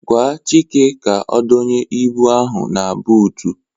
Gwa Chike ka odonye ịbụ ahụ n'butu